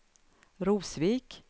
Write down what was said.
Rosvik